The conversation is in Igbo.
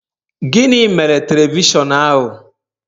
Gịnị mere telivishọn ahu?